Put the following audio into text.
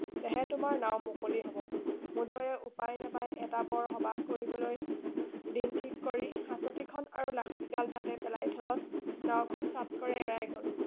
তেহে তোমাৰ নাওঁ মুকলি হব মূদৈয়ে উপাই নাপাই এটা বৰসবাহ কৰিবলৈ দিন ঠিক কৰি হাঁচতি খন আৰু লাখুটি ডাল তাতে পেলাই থলত নাওঁখন চাপকৰি এৰাই গল